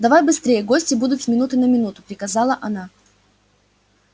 давай быстрее гости будут с минуты на минуту приказала она